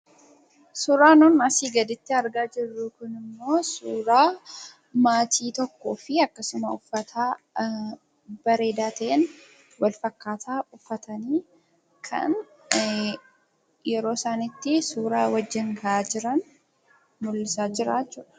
Suuraan nuti asii gaditti argaa jirru kun immoo suuraa maatii tokkoo fi akkasuma uffata bareedaa ta'een wal fakkaataa uffatanii kan yeroo isaan itti suuraa wajjin ka'aa jiran mul'isaa jira jechuudha.